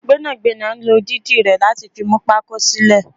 Gbẹ́nàgbẹ́nà ló dídì rẹ láti fi mú pako sílè